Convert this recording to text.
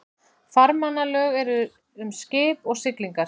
Farmannalög eru um skip og siglingar.